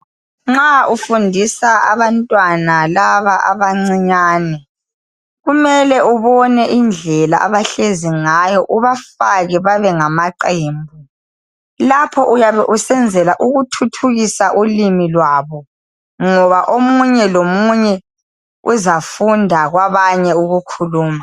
Nxa ufundisa abantwana laba abancinyane kumele ubone indlela abahlezi ngayo ubafake babe ngamaqembu lapho uyabe usenzela ukuthuthukisa ulimi lwabo ngoba omunye lomunye uzafunda kwabanye ukukhuluma.